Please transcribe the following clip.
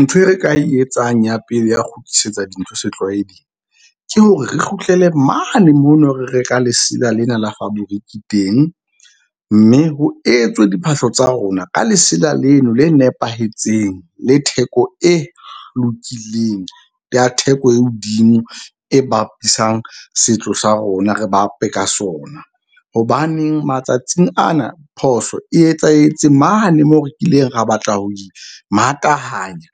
Ntho e re ka e etsang ya pele ya kgutlisetsa dintho setlwaeding ke hore re kgutlele mane mono, re reka lesela lena la fabriki teng. Mme ho etswe diphahlo tsa rona ka lesela leno le nepahetseng le theko e lokileng ya theko e hodimo e bapisang setso sa rona re bape ka sona. Hobaneng matsatsing ana phoso e etsahetse mane moo re kileng ra batla ho imatahanya